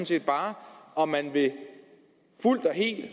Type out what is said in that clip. set bare om man fuldt og helt